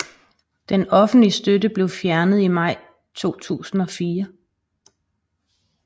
Den offentlige støtte blev fjernet i maj 2004